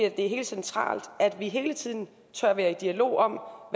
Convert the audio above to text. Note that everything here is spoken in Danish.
at det er helt centralt at vi hele tiden tør være i dialog om